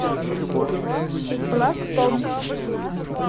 пластом